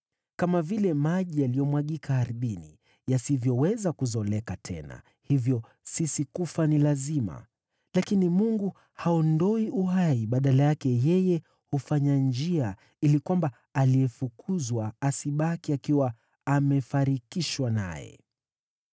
Kama vile maji yaliyomwagika ardhini, yasivyoweza kuzoleka tena, hivyo sisi kufa ni lazima. Lakini Mungu haondoi uhai, badala yake, yeye hufanya njia ili kwamba aliyefukuzwa asibaki akiwa amefarikishwa naye.